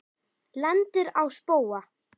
Lendir á spóa.